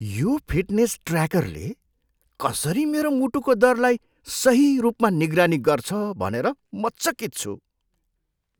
यो फिटनेस ट्र्याकरले कसरी मेरो मुटुको दरलाई सही रूपमा निगरानी गर्छ भनेर म चकित छु।